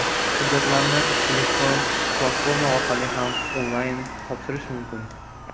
Hujjatlarni elektron platforma orqali ham onlayn topshirish mumkin.